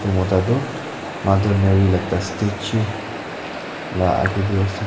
etu mota tu mother marry statue laga age te ase.